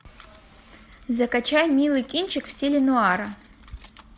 закачай милый кинчик в стиле нуара